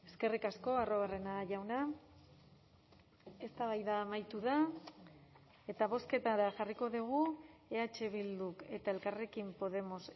eskerrik asko arruabarrena jauna eztabaida amaitu da eta bozketara jarriko dugu eh bilduk eta elkarrekin podemos